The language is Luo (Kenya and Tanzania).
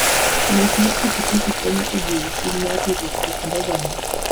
Ng'wech mar pikipiki konyo e jiwo chuny mar riwruok e kind oganda.